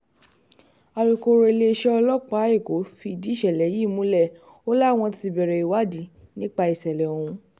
alūkkóró iléeṣẹ́ ọlọ́pàá èkó fìdí ìṣẹ̀lẹ̀ yìí múlẹ̀ o láwọn ti bẹ̀rẹ̀ ìwádìí nípa ìṣẹ̀lẹ̀ ọ̀hún